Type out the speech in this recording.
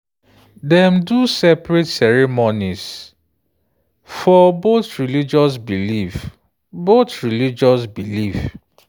dem do separate ceremonies for both religious belief. both religious belief.